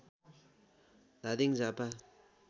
Dhading Jhapa